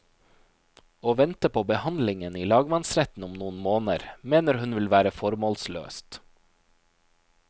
Å vente på behandlingen i lagmannsretten om noen måneder, mener hun ville vært formålsløst.